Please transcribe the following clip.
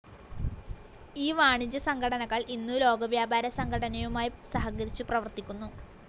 ഈ വാണിജ്യസംഘടനകൾ ഇന്നു ലോകവ്യാപാരസംഘടനയുമായി സഹകരിച്ചു പ്രവർത്തിക്കുന്നു.